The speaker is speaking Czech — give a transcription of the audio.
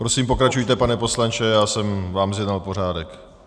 Prosím pokračujte, pane poslanče, já jsem vám zjednal pořádek.